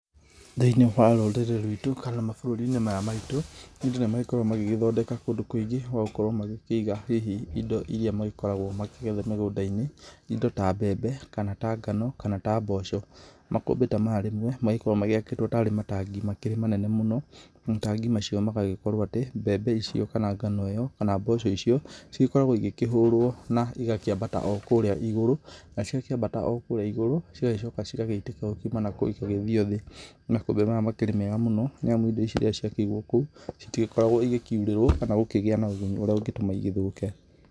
Thĩinĩ wa rũrĩrĩ rwitũ kana mabũrũri-inĩ maya maitũ, andũ nĩ magĩkoragwo magĩgĩthondeka kũndũ kũingĩ gwa gũkorwo magĩkĩiga hihi indo iria magĩkoragwo makĩgetha mĩgũnda-inĩ. Indo ta mbembe, kana ta ngano, kana ta mboco. Makũmbĩ ta maya rĩmwe magĩkoragwo magĩakĩtwo tarĩ matangi makĩrĩ manene mũno. Matangi macio magagĩkorwo atĩ mbembe icio, kana ngano ĩyo, kana mboco icio, cigĩkoragwo igĩkĩhũrwo igakĩambata o kũrĩa igũrũ, na ciakĩmbata o kũrĩa igũrũ, cigagĩcoka cigagĩitĩka o kuma nakũu cigagĩthiĩ o thĩ. Makũmbĩ maya makĩrĩ mega mũno nĩ amu indo iria ciakĩigwo kũu citigĩkoragwo ikiurĩrwo, kana kũgĩa na ũgunyu ũrĩa ũngĩtũma igĩthũke.